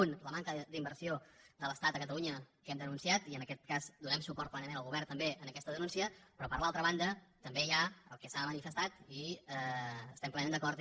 un la manca d’inversió de l’estat a catalunya que hem denunciat i en aquest cas donem suport plenament al govern també en aquesta denúncia però per l’altra banda també hi ha el que s’ha manifestat i hi estem plenament d’acord